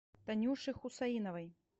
танюше хусаиновой